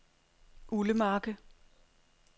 Ullemarke